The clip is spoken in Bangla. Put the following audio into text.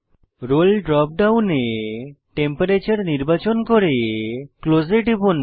রোল ড্রপ ডাউনে টেম্পারেচার নির্বাচন করে ক্লোজ এ টিপুন